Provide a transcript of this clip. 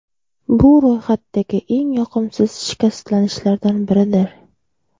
Bu ro‘yxatdagi eng yoqimsiz shikastlanishlardan biridir.